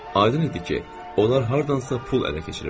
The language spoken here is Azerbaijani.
Aydın idi ki, onlar hardansa pul ələ keçiriblər.